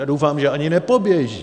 A doufám, že ani nepoběží.